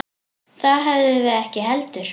Það höfðum við ekki heldur.